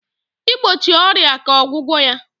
igbochi ọrịa ka ọgwụgwọ ya.